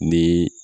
Ni